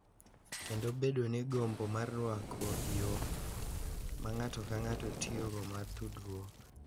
Kendo bedo gi gombo mar rwako yo ma ng’ato ka ng’ato tiyogo mar tudruok.